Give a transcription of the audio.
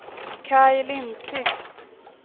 Kaj Lindquist